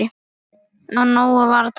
Af nógu var að taka.